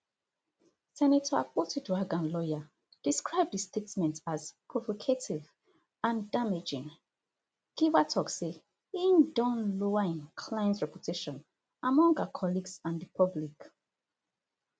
senator akpotiuduaghan lawyer describe di statement as provocative and damaging giwa tok say e don lower im client reputation among her colleagues and di public